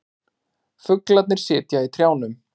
Fuglarnir sitja í trjánum.